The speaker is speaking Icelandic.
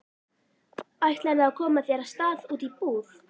Ætlarðu að koma þér af stað út í búð?